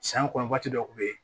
San kɔnɔ waati dɔ kun bɛ ye